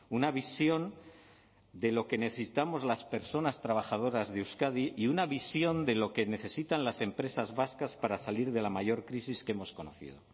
una visión de lo que necesitamos las personas trabajadoras de euskadi y una visión de lo que necesitan las empresas vascas para salir de la mayor crisis que hemos conocido